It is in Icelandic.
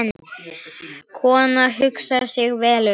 Konan hugsar sig vel um.